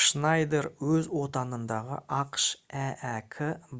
шнайдер өз отанындағы ақш әәк